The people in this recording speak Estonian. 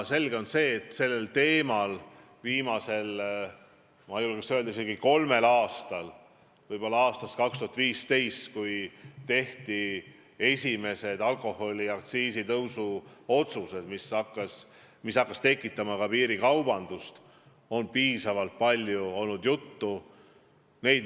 Muidugi on selge, et sellel teemal on viimasel, ma julgeks öelda, isegi kolmel aastal, võib-olla aastast 2015, kui tehti esimesed alkoholiaktsiisi tõstmise otsused, mis hakkas tekitama ka piirikaubandust, piisavalt palju juttu olnud.